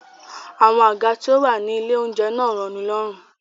Àwọn àga tí ó wà ní ilé-oúnjẹ náà ò rọnilọ́rùn.